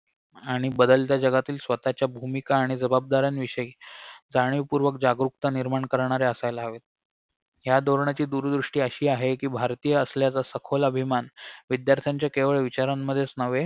आणि बदलत्या जगातील स्वतःच्या भूमिका आणि जबाबदाऱ्यांविषयी जाणीवपूर्वक जागरूकता निर्माण करणारे असायला हवेत ह्या धोरणाची दूरदृष्टी अशी आहे कि भारतीय असल्याचा सखोल अभिमान विध्यार्थ्यांच्या केवळ विचारांमध्येच न्हवे